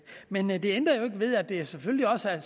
men men det ændrer ikke ved at der selvfølgelig også af